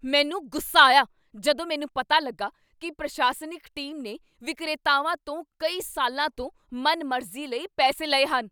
ਮੈਨੂੰ ਗੁੱਸਾ ਆਇਆ ਜਦੋਂ ਮੈਨੂੰ ਪਤਾ ਲੱਗਾ ਕੀ ਪ੍ਰਸ਼ਾਸਨਿਕ ਟੀਮ ਨੇ ਵਿਕਰੇਤਾਵਾਂ ਤੋਂ ਕਈ ਸਾਲਾਂ ਤੋਂ ਮਨਮਰਜ਼ੀ ਲਈ ਪੈਸੇ ਲਏ ਹਨ।